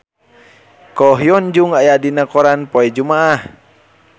Ko Hyun Jung aya dina koran poe Jumaah